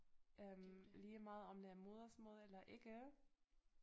Øh lige meget om det er modersmål eller ikke